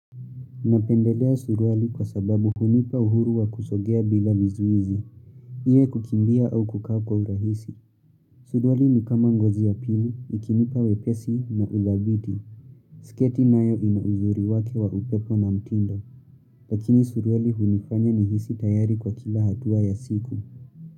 Napendelea suruali kwa sababu hunipa uhuru wa kusogea bila mizuizi. Iwe kukimbia au kukaa kwa urahisi. Suruali ni kama ngozi ya pili, ikinipa wepesi na udhabiti. Siketi nayo inauzuri wake wa upepo na mtindo. Lakini suruali hunifanya ni hisi tayari kwa kila hatua ya siku.